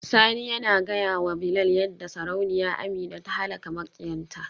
Sani yana gaya wa Bilal yadda Sarauniya Amina ta halaka makiyanta.